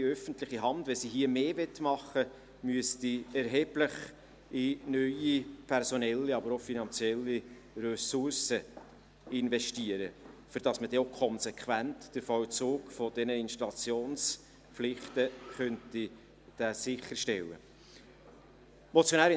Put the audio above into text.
Wenn die öffentliche Hand hier mehr tun wollte, müssten erhebliche personelle, aber auch finanzielle Ressourcen investiert werden, damit man den Vollzug dieser Installationspflichten konsequent sicherstellen kann.